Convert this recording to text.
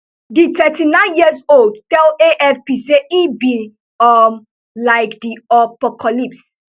di thirty-nine year old tell afp say e be um like di opocalypse